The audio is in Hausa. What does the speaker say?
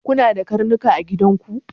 Kuna da karnuka a gidan ku?